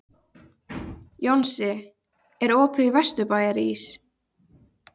Jónsi, er opið í Vesturbæjarís?